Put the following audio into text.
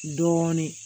Dɔɔnin